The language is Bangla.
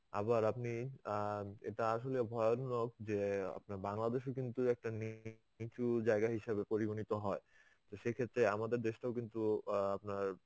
আবার আপনি অ্যাঁ এটা আসলে ভয়নক যে অ্যাঁ আপনার বাংলাদেশে কিন্তু একটা নিচু জায়গা হিসাবে পরিগণিত হয়. তো সেক্ষেত্রে আমাদের দেশটাও কিন্তু অ্যাঁ আপনার